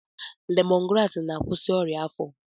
Lemọn graasị na-akwụsị ọrịa afọ.